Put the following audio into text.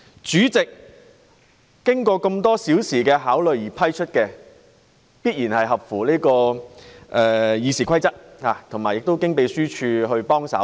主席經過多小時考慮而給予准許，必然符合《議事規則》，並有立法會秘書處協助。